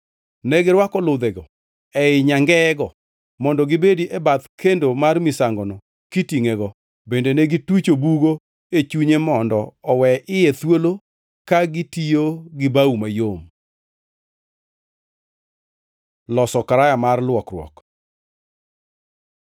Negirwako ludhego ei nyangeyego mondo gibedi e bath kendo mar misangono kitingʼego, bende ne gitucho bugo e chunye mondo owe iye thuolo ka gitiyo gi bao mayom. Loso karaya mar luokruok